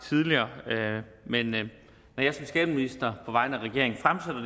tidligere men når jeg som skatteminister på vegne af regeringen har